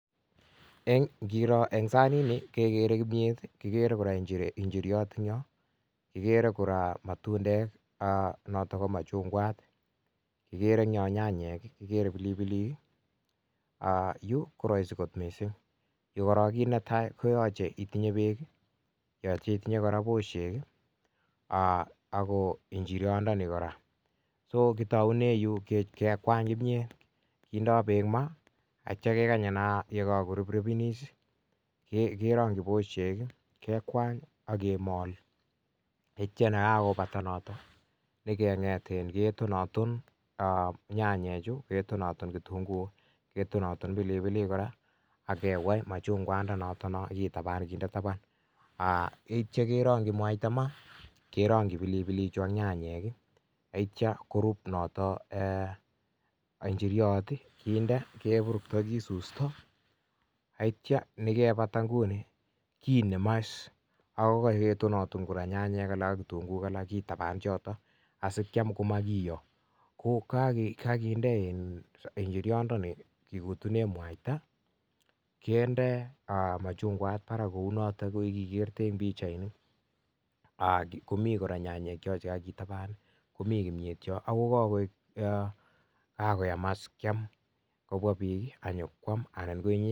ngiroo eng saniit nii ikeree nyanyeek ,matundeeek, pilipiliik yuu koyacheii itinyee peek kongunoo yuu koyacheei itinyee posheek kindai peek m,aah akikeny koruprupen aketon aton akerakyii mwaita maaah akindee tuguuk tugul maaah akitapan akindee machungwaat parak akokakoyam as kyam